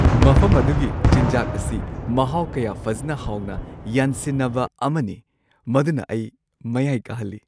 ꯃꯐꯝ ꯑꯗꯨꯒꯤ ꯆꯤꯟꯖꯥꯛ ꯑꯁꯤ ꯃꯍꯥꯎ ꯀꯌꯥ ꯐꯖꯅ ꯍꯥꯎꯅ ꯌꯥꯟꯁꯤꯟꯅꯕ ꯑꯃꯅꯤ ꯃꯗꯨꯅ ꯑꯩ ꯃꯌꯥꯏ ꯀꯥꯍꯜꯂꯤ ꯫